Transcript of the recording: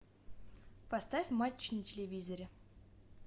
поставь матч на телевизоре